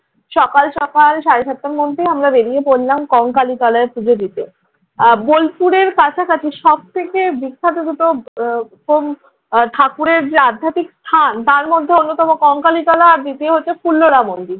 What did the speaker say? সকাল সকাল সাড়ে সাতটার মধ্যেই আমরা বেরিয়ে পড়লাম কঙ্কালীতলায় পুজো দিতে। আহ বোলপুরের কাছাকাছি সব থেকে বিখ্যাত দুটো কৌম, ঠাকুরের যে আধ্যাত্মিক স্থান তার মধ্যে অন্যতম কঙ্কালীতলা আর দ্বিতীয় হচ্ছে ফুল্লরা মন্দির।